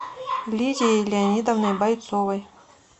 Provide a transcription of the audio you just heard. лидией леонидовной бойцовой